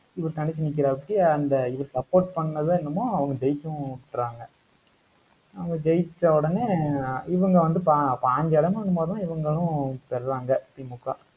இவர் தனிச்சு நிக்கிறாப்பிடி அந்த இவரு support பண்ணது என்னமோ, அவங்க ஜெயிக்கவும் விட்றாங்க. அவங்க ஜெயிச்ச உடனே இவங்க வந்து, ப~ பதினஞ்சு இடமோ என்னமோதான் இவங்களும் பெறுறாங்க, திமுக.